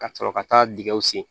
Ka sɔrɔ ka taa dingɛw sen